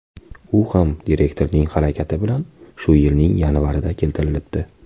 U ham direktorning harakati bilan shu yilning yanvarida keltirilibdi.